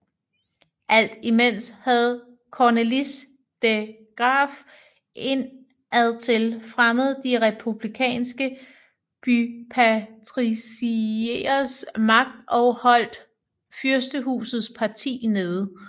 Alt imens havde Cornelis de Graeff indadtil fremmet de republikanske bypatricieres magt og holdt fyrstehusets parti nede